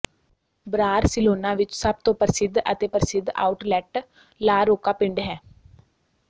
Barcelona ਵਿੱਚ ਸਭ ਤੋਂ ਪ੍ਰਸਿੱਧ ਅਤੇ ਪ੍ਰਸਿੱਧ ਆਊਟਲੈੱਟ ਲਾ ਰੋਕਾ ਪਿੰਡ ਹੈ